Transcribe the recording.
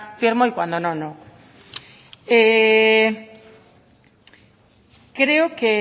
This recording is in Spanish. firmo y cuando no no creo que